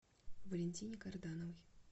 валентине кардановой